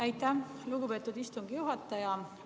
Aitäh, lugupeetud istungi juhataja!